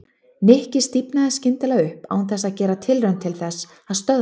Nikki stífnaði skyndilega upp án þess að gera tilraun til þess að stöðva hana.